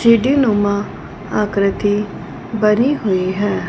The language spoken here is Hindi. सीढी नुमा आकृति बनी हुई है।